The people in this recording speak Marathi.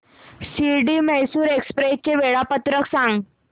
शिर्डी मैसूर एक्स्प्रेस चे वेळापत्रक सांग